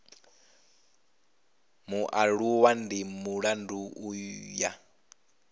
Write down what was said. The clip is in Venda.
mualuwa ndi mulandu u ya